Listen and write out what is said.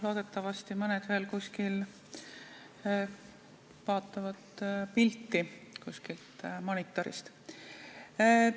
Loodetavasti mõned veel vaatavad pilti kuskilt monitorist.